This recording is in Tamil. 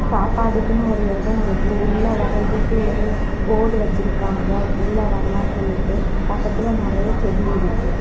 சாப்பாட்டுக்குனு ஒரு எடோ இருக்கு உள்ள வரதுக்கு ஒரு போர்டு வச்சிருக்காங்க உள்ள வரலானு சொல்லிட்டு பக்கத்துல நறைய செடி இருக்கு.